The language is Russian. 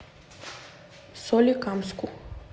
соликамску